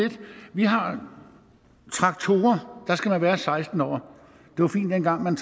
vi har traktorer og der skal man være seksten år det var fint dengang man